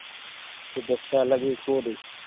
ଟିକେ ଦେଖିବା ଲାଗି କୁହ ଟିକେ।